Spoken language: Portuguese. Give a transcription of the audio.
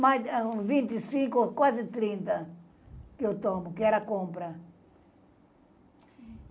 Mais de uns vinte e cinco, quase trinta que eu tomo, que ela compra.